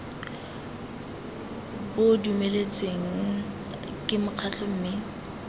bo dumeletsweng ke mekgatlho mme